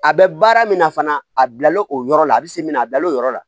A bɛ baara min na fana a bila la o yɔrɔ la a bɛ se min na a bila l'o yɔrɔ la